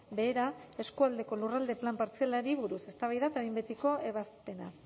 behera eskualdeko lurralde plan partzialari buruz eztabaida eta behin betiko ebazpena